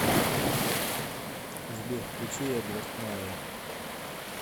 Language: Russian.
сбер включи эдвард майя